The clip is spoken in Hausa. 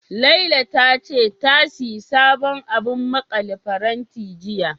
Lala ta ce, ta sayi sabon abun maƙale faranti, jiya.